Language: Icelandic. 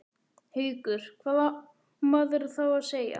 Haukur: Hvað á maður þá að segja?